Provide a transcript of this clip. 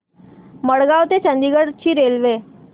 मडगाव ते चंडीगढ ची रेल्वे